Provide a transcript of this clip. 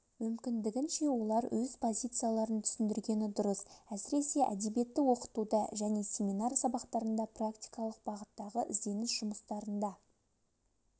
мүмкіндігінше олар өз позицияларын түсіндіргені дұрыс әсіресе әдебиет ті оқытуда және семинар сабақтарында практикалық бағыттағы ізденіс жұмыстарында